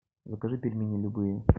закажи пельмени любые